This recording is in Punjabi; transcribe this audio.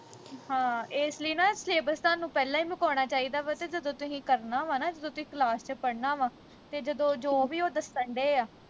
ਹਾਂ ਇਸ ਲਈ ਨਾ syllabus ਤੁਹਾਨੂੰ ਪਹਿਲਾਂ ਈ ਮੁਕਾਉਣਾ ਚਾਹੀਦਾ ਵਾਂ ਤੇ ਜਦੋਂ ਤੁਹੀਂ ਕਰਨਾ ਵਾ ਨਾ ਜਦੋਂ ਤੁਸੀਂ class ਵਿਚ ਪੜਨਾ ਵਾ ਤੇ ਜਦੋਂ ਜੋ ਵੀ ਉਹ ਦੱਸਣ ਦਏ ਆ